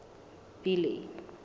billy